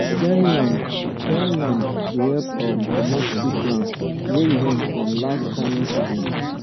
clearing land clearing land dey help um comot sick plants wey remain from last farming season